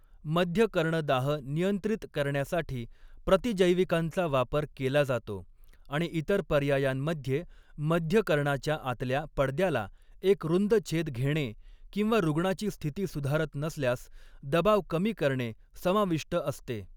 मध्यकर्णदाह नियंत्रित करण्यासाठी प्रतिजैविकांचा वापर केला जातो आणि इतर पर्यायांमध्ये मध्यकर्णाच्या आतल्या पडद्याला एक रुंद छेद घेणे किंवा रुग्णाची स्थिती सुधारत नसल्यास दबाव कमी करणे समाविष्ट असते.